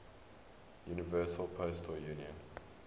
universal postal union